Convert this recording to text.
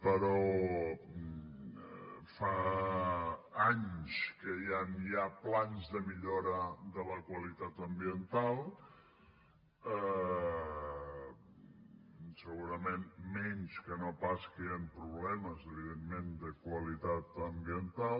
però fa anys que ja hi han plans de millora de la qualitat ambiental segurament menys que no pas que hi han problemes evidentment de qualitat ambiental